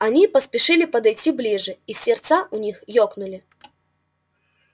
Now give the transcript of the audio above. они поспешили подойти ближе и сердца у них ёкнули